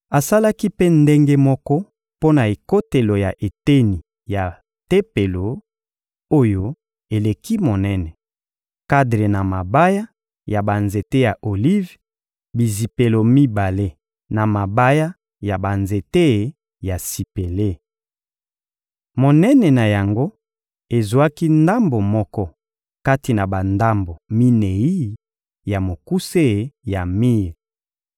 Asalaki mpe ndenge moko mpo na ekotelo ya eteni ya Tempelo, oyo eleki monene: kadre na mabaya ya banzete ya olive, bizipelo mibale na mabaya ya banzete ya sipele. Monene na yango ezwaki ndambo moko kati na bandambo minei ya mokuse ya mir.